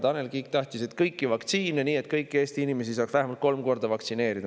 Tanel Kiik tahtis, et kõiki vaktsiine, nii et kõiki Eesti inimesi saaks vähemalt kolm korda vaktsineerida.